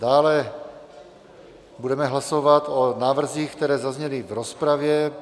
Dále budeme hlasovat o návrzích, které zazněly v rozpravě.